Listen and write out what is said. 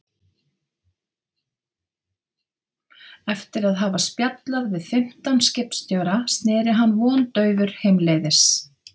Eftir að hafa spjallað við fimmtán skipstjóra sneri hann vondaufur heimleiðis.